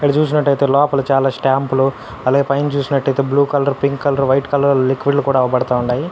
ఇక్కడ చూసినటైతే లోపల చాలా స్టాంపు లు అలాగే పైన చూసినటైతే blue colour pink colour white colour liquid లు కూడా అవుపడతా ఉండాయి.